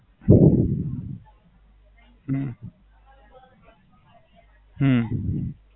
હમ હમ